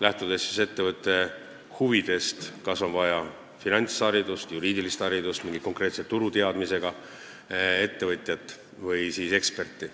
Lähtutakse ettevõtte huvidest: kas on vaja finantsharidust, juriidilist haridust, kas on vaja mingit konkreetset turgu tundvat ettevõtjat või siis eksperti.